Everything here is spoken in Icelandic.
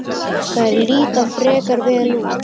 Þær líta frekar vel út.